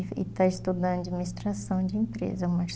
E está estudando administração de empresa, o